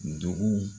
Dugu